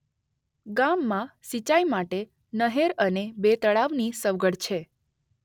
ગામમાં સિંચાઇ માટે નહેર અને બે તળાવની સગવડ છે.